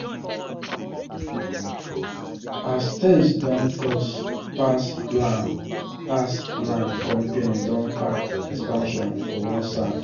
as things don cost pass plan pass plan company don park expansion for one side.